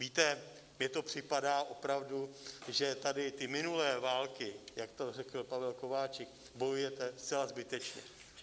Víte, mně to připadá opravdu, že tady ty minulé války, jak to řekl Pavel Kováčik, bojujete zcela zbytečně.